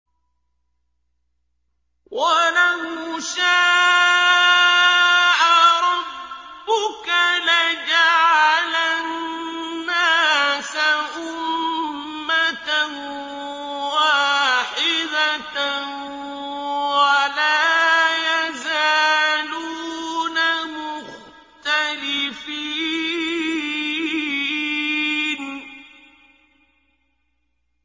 وَلَوْ شَاءَ رَبُّكَ لَجَعَلَ النَّاسَ أُمَّةً وَاحِدَةً ۖ وَلَا يَزَالُونَ مُخْتَلِفِينَ